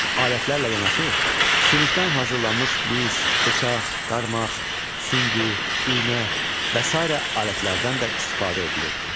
Daş alətlərlə yanaşı, sümükdən hazırlanmış biz, bıçaq, qarmaq, süngü, iynə və sair alətlərdən də istifadə edilirdi.